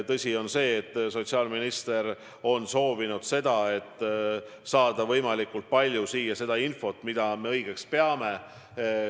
Tõsi on see, et sotsiaalminister on soovinud kirja panna võimalikult palju infot, mida me vajalikuks peame.